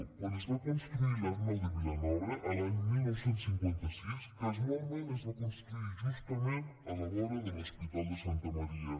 quan es va construir l’arnau de vilanova l’any dinou cinquanta sis casualment es va construir justament a la vora de l’hospital de santa maria